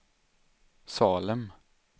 Salem